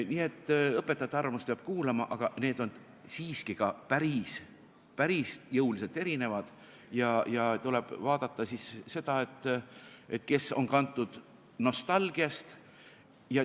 Nii et õpetajate arvamust peab kuulama, aga need on siiski ka päris jõuliselt erinevad ja tuleb vaadata, kes on kantud nostalgiast.